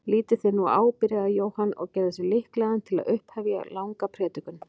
Lítið þér nú á, byrjaði Jóhann og gerði sig líklegan til að upphefja langa predikun.